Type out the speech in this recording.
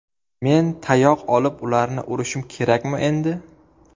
Men tayoq olib ularni urishim kerakmi endi?